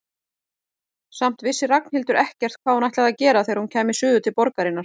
Samt vissi Ragnhildur ekkert hvað hún ætlaði að gera þegar hún kæmi suður til borgarinnar.